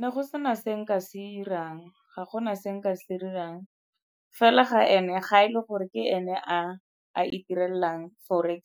Na go sena se nka se 'irang, ga gona se nka se dirang. Fela ga e le gore ke ene a a itirelang forex